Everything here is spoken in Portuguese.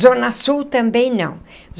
Zona Sul, também não.